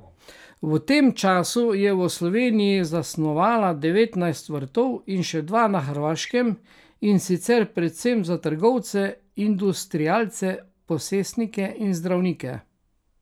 V tem času je v Sloveniji zasnovala devetnajst vrtov in še dva na Hrvaškem in sicer predvsem za trgovce, industrialce, posestnike in zdravnike.